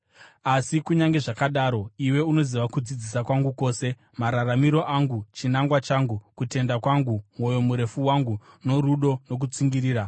Asi kunyange zvakadaro, iwe unoziva kudzidzisa kwangu kwose, mararamiro angu, chinangwa changu, kutenda kwangu, mwoyo murefu wangu, norudo, nokutsungirira,